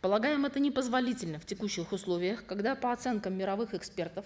полагаем это непозволительно в текущих условиях когда по оценкам мировых экспертов